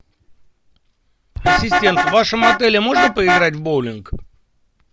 ассистент в вашем отеле можно поиграть в боулинг